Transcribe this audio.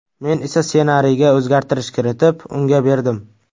Men esa ssenariyga o‘zgartirish kiritib, unga berdim.